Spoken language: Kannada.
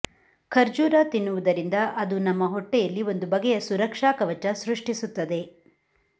ಖರ್ಜೂರ ತಿನ್ನುವುದರಿಂದ ಅದು ನಮ್ಮ ಹೊಟ್ಟೆಯಲ್ಲಿ ಒಂದು ಬಗೆಯ ಸುರಕ್ಷಾ ಕವಚ ಸೃಷ್ಟಿಸುತ್ತದೆ